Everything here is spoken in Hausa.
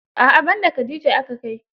A'a ban da khadija aka kai.